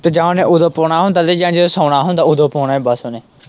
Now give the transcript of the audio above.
ਤੇ ਜਾਂ ਉਹਨੇ ਉੱਦੋਂ ਪਾਉਣਾ ਹੁੰਦਾ ਲੈ ਜਾਣਾ ਜਦੋਂ ਸੌਣਾ ਹੁੰਦਾ ਉੱਦੋ ਪਾਉਣਾ ਬਸ ਉਹਨੇ।